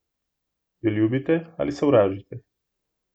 Jo ljubite ali sovražite?